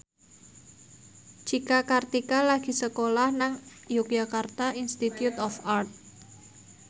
Cika Kartika lagi sekolah nang Yogyakarta Institute of Art